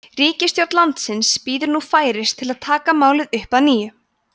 ríkisstjórn landsins bíður nú færis til að taka málið upp að nýju